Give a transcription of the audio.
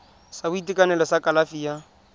sa boitekanelo sa kalafi ya